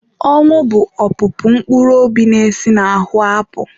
Ọnwụ bụ opụpụ mkpụrụ obi na-esi n'ahụ apụ.